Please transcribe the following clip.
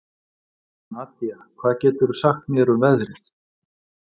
Nadía, hvað geturðu sagt mér um veðrið?